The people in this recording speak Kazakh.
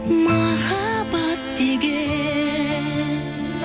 махаббат деген